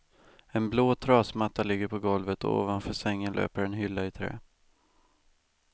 En blå trasmatta ligger på golvet och ovanför sängen löper en hylla i trä.